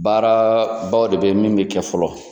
Baara baw de be yen min be kɛ fɔlɔ.